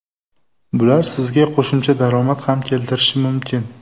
Bular sizga qo‘shimcha daromad ham keltirishi mumkin.